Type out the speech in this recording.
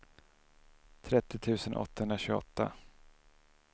trettio tusen åttahundratjugoåtta